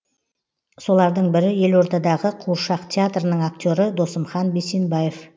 солардың бірі елордадағы қуыршақ театрының актері досымхан бейсенбаев